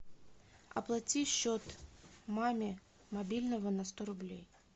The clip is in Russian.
оплати счет маме мобильного на сто рублей